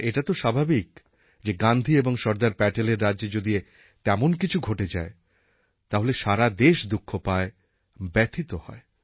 আর এটা তো স্বাভাবিক যে গান্ধী এবং সর্দার প্যাটেলের রাজ্যে যদি তেমন কিছু ঘটে যায় তাহলে সারা দেশ দুঃখ পায় ব্যথিত হয়